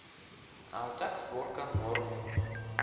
а так сборка норм